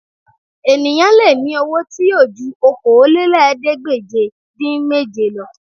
Ènìyàn lè ní owó tí yóò ju Okòólélẹ́ẹ̀ẹ́dégbèje-dín-méje lọ